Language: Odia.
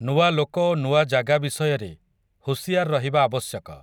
ନୂଆ ଲୋକ ଓ ନୂଆ ଜାଗା ବିଷୟରେ, ହୁସିଆର୍ ରହିବା ଆବଶ୍ୟକ ।